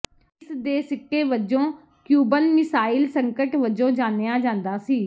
ਇਸ ਦੇ ਸਿੱਟੇ ਵਜੋਂ ਕਿਊਬਨ ਮਿਸਾਈਲ ਸੰਕਟ ਵਜੋਂ ਜਾਣਿਆ ਜਾਂਦਾ ਸੀ